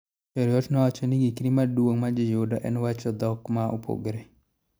Cheruiyot nowacho ni ngikri maduong majiyudo en wacho dhokma opogore